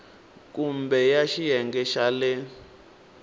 kumbe ya xiyenge xa le